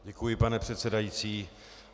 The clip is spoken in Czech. Děkuji, pane předsedající.